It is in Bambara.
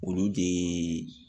Olu de ye